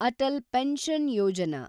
Atal pension Yojana